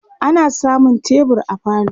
ana samun tebur a falo